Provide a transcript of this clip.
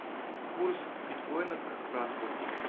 курс биткоина к франку